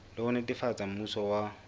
le ho netefatsa mmuso wa